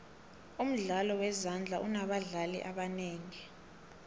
umdlalo wezandla unobadlali ebangaki